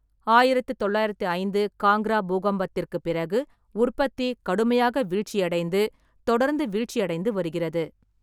ஆயிரத்து தொள்ளாயிரத்து ஐந்து காங்க்ரா பூகம்பத்திற்குப் பிறகு உற்பத்தி கடுமையாக வீழ்ச்சியடைந்து தொடர்ந்து வீழ்ச்சியடைந்து வருகிறது.